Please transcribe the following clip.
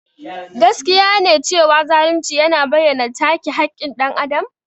Gaskiya ne cewa zalunci yana bayyana take haƙƙin dan Adam.